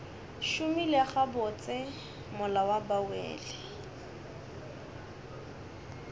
šomile gabotse mola ba wele